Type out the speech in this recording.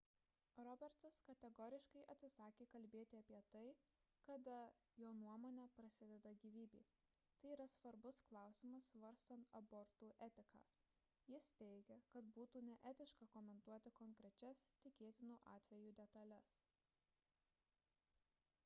robertsas kategoriškai atsisakė kalbėti apie tai kada jo nuomone prasideda gyvybė – tai yra svarbus klausimas svarstant abortų etiką – jis teigia kad būtų neetiška komentuoti konkrečias tikėtinų atvejų detales